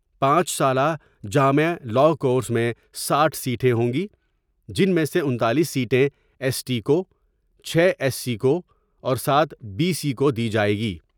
پانچ سالہ جامع لاء کورس میں ساٹھ سیٹیں ہوں گی جن میں سے انتالیس سیٹیں ایس ٹی کو ، چھ ایس سی کو ، اور سات بی سی کو دی جائے گی ۔